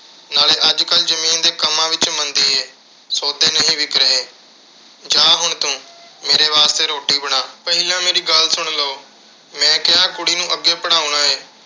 ਨਾਲੇ ਅੱਜ ਕੱਲ੍ਹ ਜ਼ਮੀਨ ਦੇ ਕੰਮਾਂ ਵਿੱਚ ਮੰਦੀ ਏ। ਸੌਦੇ ਨਹੀਂ ਵਿਕ ਰਹੇ। ਜਾਹ ਹੁਣ ਤੂੰ ਤੇ ਮੇਰੇ ਵਾਸਤੇ ਰੋਟੀ ਬਣਾ। ਪਹਿਲਾਂ ਮੇਰੀ ਗੱਲ ਸੁਣ ਲਓ। ਮੈਂ ਕਿਹਾ ਕੁੜੀ ਨੂੰ ਅੱਗੇ ਪੜ੍ਹਾਉਣਾ ਏ।